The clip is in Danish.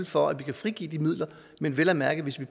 for at vi kan frigive de midler men vel at mærke hvis vi